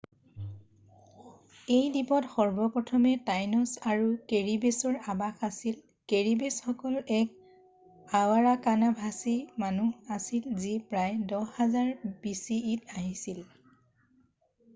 এই দ্বীপত সৰ্বপ্ৰথমে টাইনছ আৰু কেৰিবেছৰ আৱাস আছিল৷ কেৰিবেছসকল এক আৰাৱাকান-ভাষী মানুহ আছিল যি প্ৰায় 10,000 bce ত আহিছিল৷